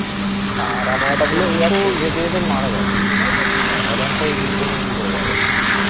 r one five three four নিয়ে কি করে যাবে